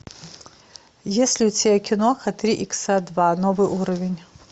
есть ли у тебя киноха три икса два новый уровень